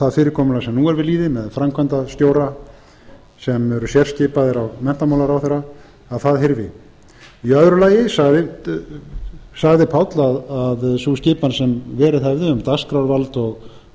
það fyrirkomulag sem nú er við lýði sem framkvæmdarstjóra sem eru sérskipaðir af menntamálaráðherra að það hyrfi í öðru lagi sagði páll að sú skipan sem verið hefði um dagskrárvald og um afskipti af